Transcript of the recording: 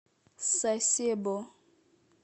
сасебо